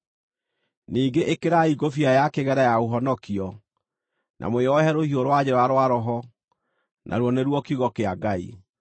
Ningĩ ĩkĩrai ngũbia ya kĩgera ya ũhonokio, na mwĩohe rũhiũ rwa njora rwa Roho, naruo nĩruo kiugo kĩa Ngai.